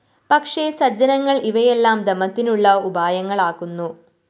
പക്ഷേ സജ്ജനങ്ങള്‍ ഇവയെല്ലാം ദമത്തിനുള്ള ഉപായങ്ങളാക്കുന്നു